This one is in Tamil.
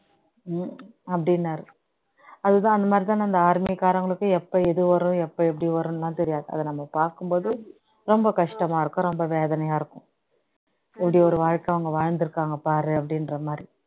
அப்படின்னாரு அது தான் அந்த மாதிரி தான் நம்ம army காரங்களுக்கு எப்போ எது வரும் எப்போ எப்ப்டி வரும்னுலாம் தெரியாது அதை நம்ம பார்க்கும் போது ரொம்ப கஷ்டமா இருக்கும் ரொம்ப வேதனையா இருக்கும் இப்படி இரு வாழ்க்கை அவங்க வாழ்ந்து இருக்காங்க பாரு அப்படின்ற மாதிரி